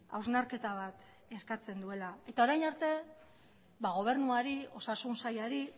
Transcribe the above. hausnarketa bat eskatzen duela eta orain arte gobernuari osasun sailari